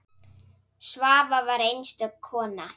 Svava var einstök kona.